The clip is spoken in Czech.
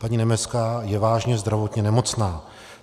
Paní Nebeská je vážně zdravotně nemocná.